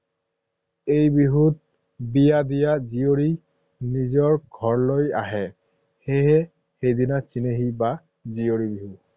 এই বিহুত বিয়া দিয়া জীয়ৰী নিজৰ ঘৰলৈ আহে, সেয়ে সেইদিনা চেনেহী বা জীয়ৰী বিহু।